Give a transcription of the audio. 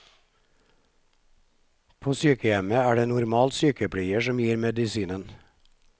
På sykehjemmet er det normalt sykepleier som gir medisinen.